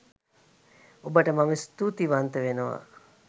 ඔබට මම ස්තූතිවන්ත වෙනවා